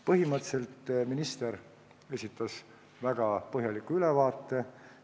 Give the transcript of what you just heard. Põhimõtteliselt esitas minister väga põhjaliku ülevaate.